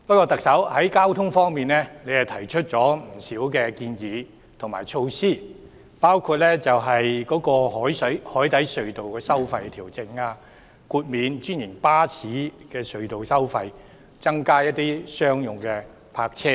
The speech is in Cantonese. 特首在交通方面亦提出了不少建議和措施，包括調整海底隧道收費、豁免專營巴士隧道收費、增加商用泊車位等。